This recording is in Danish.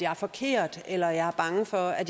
er forkert eller at man er bange for at